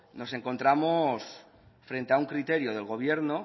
nos encontramos frente a un criterio del gobierno